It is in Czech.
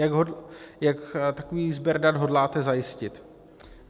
Jak takový sběr dat hodláte zajistit?